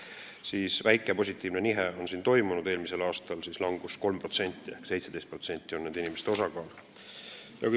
Siin on toimunud väike positiivne nihe: eelmisel aastal oli langus 3% ehk nende inimeste osakaal on 17%.